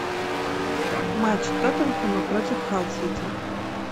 матч тоттенхэма против халл сити